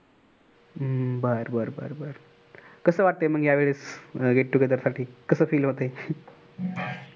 हम्म बर बर कस वाटतय मग या वेळेस get together साठी कस feel